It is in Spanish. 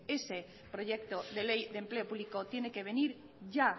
este proyecto de ley de empleo público tiene que venir ya